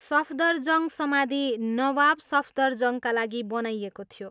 सफदरजङ्ग समाधि नवाब सफदरजङ्गका लागि बनाइएको थियो।